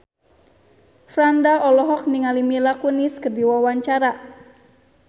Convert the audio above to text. Franda olohok ningali Mila Kunis keur diwawancara